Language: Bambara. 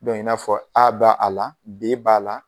Dɔn in, i n'a fɔ a b'a la b b'a la.